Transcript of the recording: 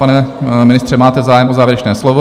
Pane ministře, máte zájem o závěrečné slovo?